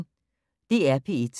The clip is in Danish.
DR P1